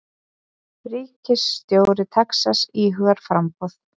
Ríkisstjóri Texas íhugar framboð